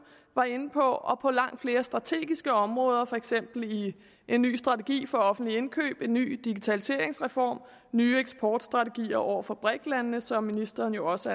var inde på og på langt flere strategiske områder for eksempel i en ny strategi for offentlige indkøb en ny digitaliseringsreform og nye eksportstrategier over for briks landene som ministeren jo også